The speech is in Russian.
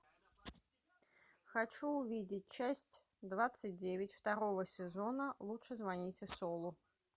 хочу увидеть часть двадцать девять второго сезона лучше звоните солу